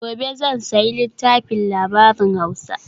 gobe zan sayi littafin labarin hausa